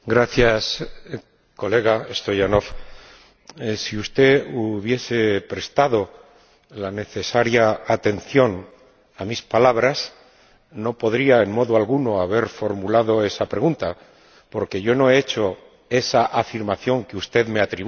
Señora Presidenta, señor Stoyanov, si usted hubiese prestado la necesaria atención a mis palabras, no podría, en modo alguno, haber formulado esa pregunta, porque yo no he hecho esa afirmación que usted me atribuye.